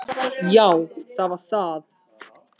Já það var það.